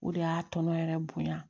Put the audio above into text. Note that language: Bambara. O de y'a tɔnɔ yɛrɛ bonya